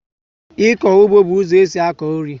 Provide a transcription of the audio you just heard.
Ịkọ ụgbọ bú ụzọ esị akọ nri